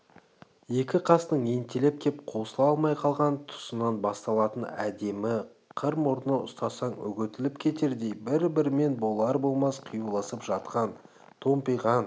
екі қастың ентелеп кеп қосыла алмай қалған тұсынан басталатын әдемі қыр мұрны ұстасаң үгітіліп кетердей бір-бірімен болар-болмас қиюласып жатқан томпиған